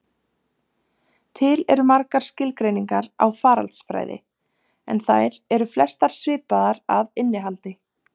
Til eru margar skilgreiningar á faraldsfræði, en þær eru flestar svipaðar að innihaldi.